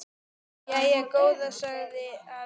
Jæja góða sagði afi bara.